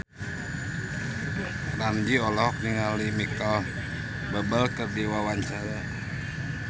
Ramzy olohok ningali Micheal Bubble keur diwawancara